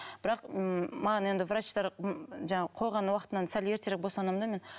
бірақ ммм маған енді врачтар жаңағы қойған уақытынан сәл ертерек босандым да мен